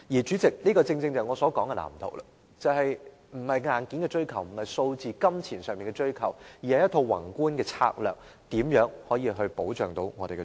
主席，這正正便是我所說的藍圖，也就是並非硬件的追求，亦不是數字和金錢上的追求，而是一套宏觀的策略，說明如何保障我們的長者。